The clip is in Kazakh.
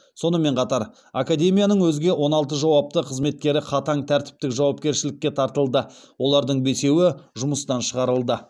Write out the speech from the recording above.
сонымен қатар академияның өзге он алты жауапты қызметкері қатаң тәртіптік жауапкершілікке тартылды олардың бесеуі жұмыстан шығарылды